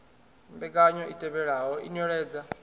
mbekanyo i tevhelaho i nweledza